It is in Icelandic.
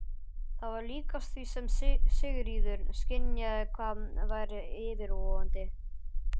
Það var líkast því sem Sigríður skynjaði hvað væri yfirvofandi.